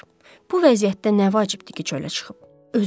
Bu vəziyyətdə nə vacibdir ki, çölə çıxıb?